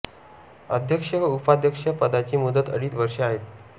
अध्यक्ष व उपाध्यक्ष पदाची मुदत अडीच वर्ष आहे